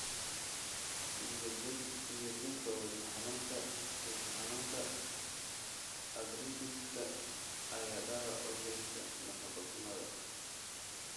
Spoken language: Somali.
niyad-jabka wadne xanuunka lafaha xanuunka arthritis-ka ayaa dhaawac u geysta nafaqo-xumada.